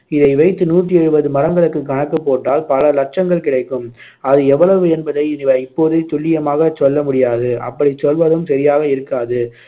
இதை வைத்து நூற்று எழுபது மரங்களுக்கு கணக்குப்போட்டால் பல லட்சங்கள் கிடைக்கும் அது எவ்வளவு என்பதை இப்போதே துல்லியமாக சொல்லமுடியாது அப்படிச் சொல்வதும் சரியாக இருக்காது